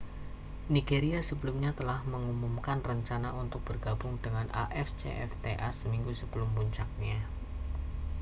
nigeria sebelumnya telah mengumumkan rencana untuk bergabung dengan afcfta seminggu sebelum puncaknya